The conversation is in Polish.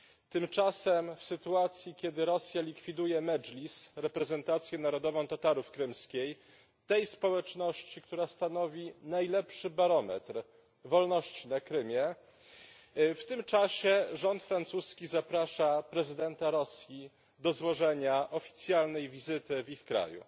Tymczasem w sytuacji, kiedy Rosja likwiduje Medżlis reprezentację narodową Tatarów krymskich, tej społeczności, która stanowi najlepszy barometr wolności na Krymie, w tym czasie rząd francuski zaprasza prezydenta Rosji do złożenia oficjalnej wizyty w ich kraju.